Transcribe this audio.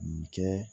Nin kɛ